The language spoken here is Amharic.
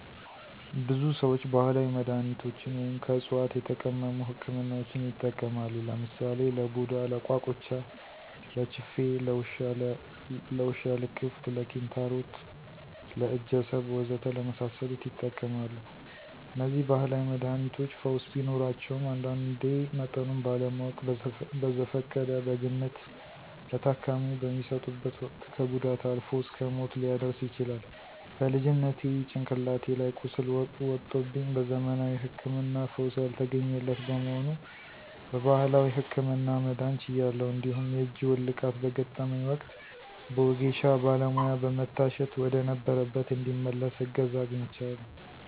ብዙ ሰዎች ባህላዊ መድሃኒቶችን ወይም ከዕፅዋት የተቀመሙ ህክምናዎችን ይጠቀማሉ። ለምሳሌ ለቡዳ፣ ለቋቁቻ፣ ለችፌ፣ ለውሻ ልክፍት፣ ለኪንታሮት፣ ለእጀሰብ ወዘተ ለመሳሰሉት ይጠቀማሉ። እነዚህ ባህላዊ መድሃኒቶች ፈውስ ቢኖራቸውም አንዳንዴ መጠኑን ባለማወቅ በዘፈቀደ (በግምት) ለታካሚው በሚሰጡበት ወቅት ከጉዳት አልፎ እስከ ሞት ሊያደርስ ይችላል። በልጅነቴ ጭንቅላቴ ላይ ቁስል ወጦብኝ በዘመናዊ ህክምና ፈውስ ያልተገኘለት በመሆኑ በባህላዊው ህክምና መዳን ችያለሁ። እንዲሁም የእጅ ውልቃት በገጠመኝ ወቅት በወጌሻ ባለሙያ በመታሸት ወደነበረበት እንዲመለስ እገዛ አግኝቻለሁ።